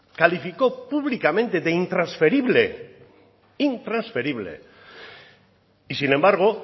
calificó públicamente de intransferible intransferible y sin embargo